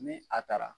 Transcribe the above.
Ni a taara